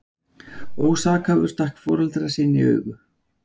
Ósakhæfur stakk foreldra sína í augu